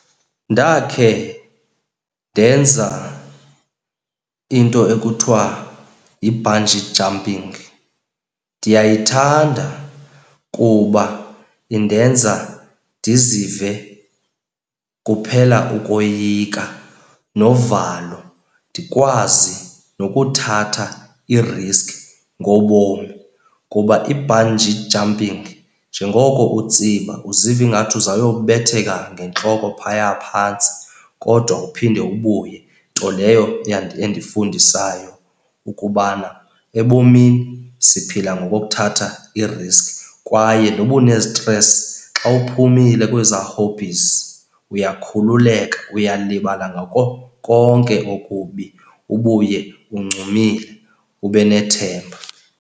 Ndakhe ndenza into ekuthiwa yi-bungee jumping. Ndiyayithanda kuba indenza ndizive kuphela ukoyika novalo, ndikwazi nokuthatha iriski ngobomi. Kuba i-bungee jumping, njengoko utsiba uziva ingathi uzawuyobetheka ngentloko phaya phantsi kodwa uphinde ubuye, nto leyo endifundisayo ukubana ebomini siphila ngokokuthatha iiriski. Kwaye nokuba unezitresi xa uphumile kwezaa hobbies uyakhululeka, uyalibala ngako konke okubi ubuye uncumile ube nethemba.